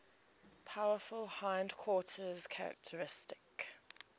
powerful hindquarters characteristic